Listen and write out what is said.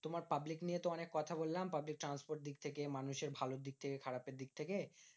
তোমার public নিয়ে তো অনেক কথা বললাম। public transport দিক থেকে, মানুষ ভালোর দিক থেকে, খারাপের দিক থেকে,